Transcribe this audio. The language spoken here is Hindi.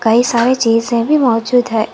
कई सारे चीजें भी मौजूद है।